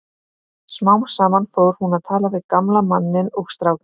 Smám saman fór hún að tala við gamla manninn og strákinn.